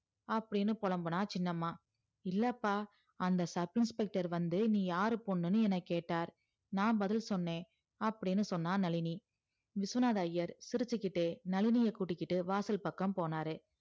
அப்டின்னு பொலம்புனா சின்னம்மா இல்லப்பா அந்த sub inspector வந்து நீ யார் பொண்ணுன்னு கேட்டார் நான் பதில் சொன்னே அப்டின்னு சொன்னா நளினி விஸ்வநாதர் ஐயர் சிரிச்சிகிட்டே நளினிய கூட்டிட்டு வாசல் பக்கம் போனாரு